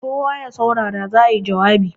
kawo ya saurara za a yi jawabi!